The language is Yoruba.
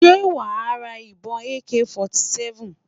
Ṣé wà á sra ìbọn AK 47?